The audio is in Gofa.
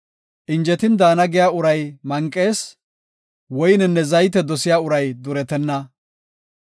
Injetin daana giya uray manqees; woynenne zayte dosiya uray duretenna.